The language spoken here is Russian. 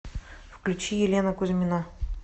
включи елена кузьмина